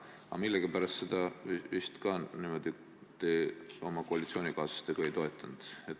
Aga millegipärast ka seda te koalitsioonikaaslastega ei toetanud.